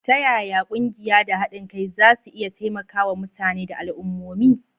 Ta yaya ƙungiyoyi da haɗin kai za su iya taimakawa mutane da al'ummomi?